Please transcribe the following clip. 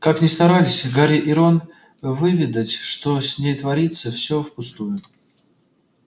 как ни старались гарри и рон выведать что с ней творится всё впустую